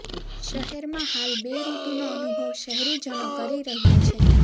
શહેરમાં હાલ બે ઋતુનો અનુભવ શહેરીજનો કરી રહ્યા છે